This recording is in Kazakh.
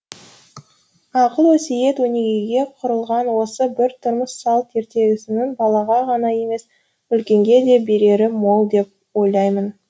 ақыл өсиет өнегеге құрылған осы бір тұрмыс салт ертегісінің балаға ғана емес үлкенге де берері мол деп ойлаймын